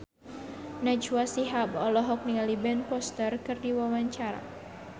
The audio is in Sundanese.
Najwa Shihab olohok ningali Ben Foster keur diwawancara